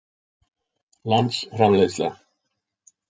landsframleiðsla